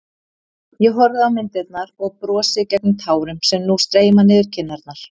Ég horfi á myndirnar og brosi gegnum tárin sem nú streyma niður kinnarnar.